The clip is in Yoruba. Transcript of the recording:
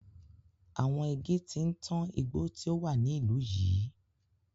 Àwọn igi ti ń tán igbó tí ó wà ní ìlú yìí.